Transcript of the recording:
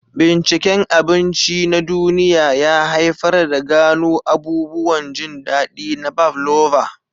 Binciken abinci na duniya ya haifar da gano abubuwan jin daɗi na pavlova.